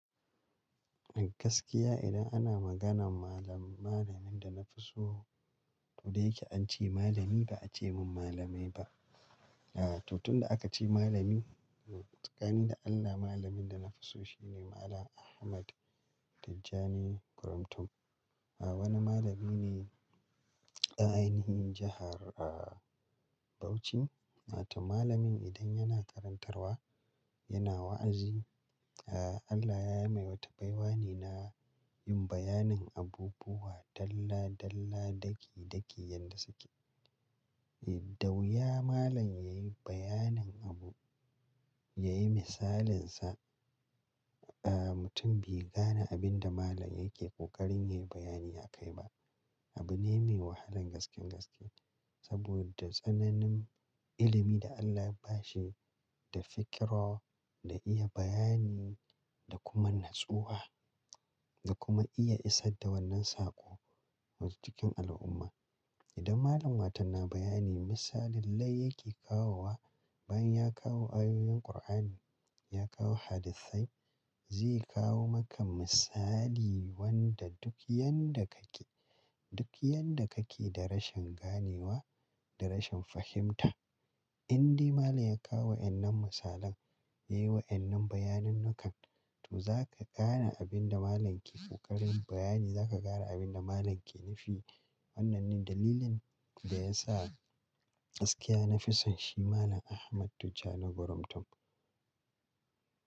Gaskiya idan ana maganan malam-mallamin da na fi so, to dai ke an ce malami ba a ce min malamai ba. Ah tunda da aka ce malami, tsakani da Allah malamin da na fi so shine Malam Ahmad Tijjani Gurumtun. Ah wani malami ne a ainihin jahar ah Bauchi. Na tuna malamin idan yana karantarwa, yana wa'azi, ah Allah ya mai wata baiwanena yin bayanin abubuwa dalla dalla daki daki yadda suke. Da wuya malam yayi bayanin abu, yayi misalin sa, ah mutum bai gane abin da malam yake ƙoƙarin yayi bayani a kai ba. Abu ne mai wahalan gaske gaske. Saboda tsananin ilimi da Allah ya bashi, da fikira, da iya bayani da kuma natsuwa da kuma iya isar da wannan saƙo wajen cikin al'umma. Idan malam watau na bayani misalin dai yake kawowa, ban ya kawo ayoyin kur'ani, ya kawo hadisai, zai kawo maka misali wanda duk yanda kake, duk yanda kake da rashin ganewa da rashin fahimta, indai malam ya kawo wannan misalan, yayi wa wannan bayanin nikan, to zaka gane abin da malam ke ƙoƙarin bayani, zaka gane abin da malam yake nufi. Wannan ne dalilin da yasa gaskiya na fi son shi Malam Ahmad Tijjani Gurumtun.